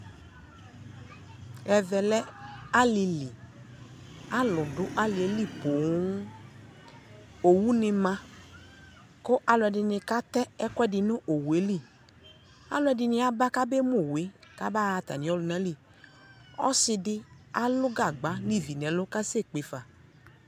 Ɛvɛ lɛ alili Alʋ dʋ alieli poo Owu ni ma kʋ alʋɛdi katɛ ɛkuɛdini nʋ owu e li Alʋɛdini aba kabemu owu e kabaɣa atami ɔlʋna li Ɔsi di alʋ gagba ni vi nɛ lʋ kasɛkpe fa